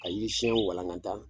Ka yiri siɲɛn walankata